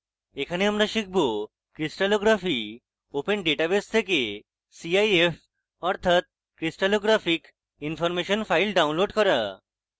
এখানে আমরা শিখব crystallography open database থেকে cif অর্থাৎ crystallographic information file download করা